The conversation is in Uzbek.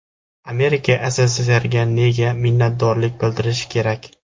Amerika SSSRga nega minnatdorlik bildirishi kerak?